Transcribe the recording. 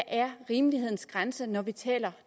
er rimelighedens grænse er når vi taler